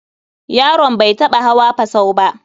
Yaron bai taɓa hawa fusau ba.